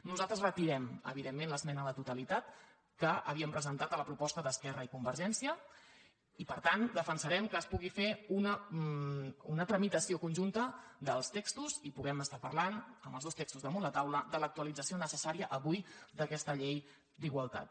nosaltres retirem evidentment l’esmena a la totalitat que havíem presentat a la proposta d’esquerra i con·vergència i per tant defensarem que es pugui fer una tramitació conjunta dels textos i puguem estar parlant amb els dos textos damunt la taula de l’actualització necessària avui d’aquesta llei d’igualtat